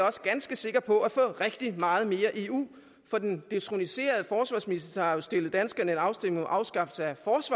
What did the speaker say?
også ganske sikker på at få rigtig meget mere eu for den detroniserede forsvarsminister har jo stillet danskerne en afstemning om afskaffelse af